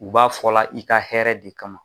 U b'a fɔla i ka hɛrɛ de kama